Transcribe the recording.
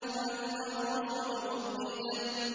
وَإِذَا الرُّسُلُ أُقِّتَتْ